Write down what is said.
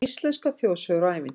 Íslenskar þjóðsögur og ævintýr